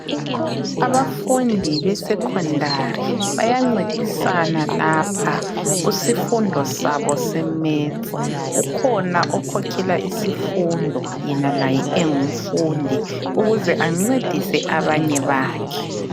Abafundi besecondary baya ncedisana Lapha kusifundo sabo se metsi ukhona okhokhela isifundo yena laye engumfundi ukuze ancedise abanye bakhe.